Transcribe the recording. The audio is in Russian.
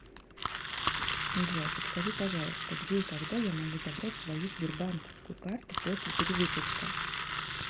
джой подскажи пожалуйста где и когда я могу забрать свою сбербанковскую карту после перевыпуска